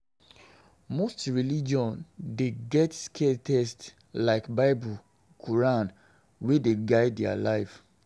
Most religion dey get scared text like bible, quoran wey dey guide their life